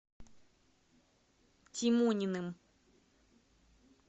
тимониным